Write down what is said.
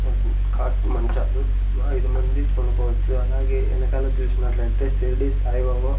cot మంచాలు మ ఐదు మంది పనుకోవచ్చు అలాగే వెనకాల చూసినట్లయితే షిరిడి సాయిబాబా--